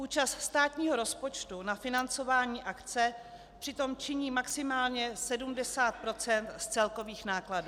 Účast státního rozpočtu na financování akce přitom činí maximálně 70 % z celkových nákladů.